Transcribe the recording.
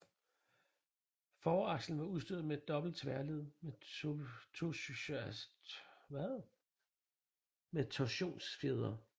Forakslen var udstyret med dobbelte tværled med torsionsfjedre